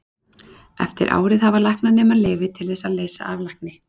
eftir árið hafa læknanemar leyfi til þess að leysa af lækni